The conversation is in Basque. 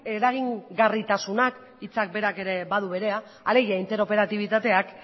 eragingarritasunak hitzak berak ere badu berea alegia interoperatibitateak